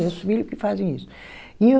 É os filho que fazem isso. E o